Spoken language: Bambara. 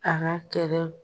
A ka kɛlɛ.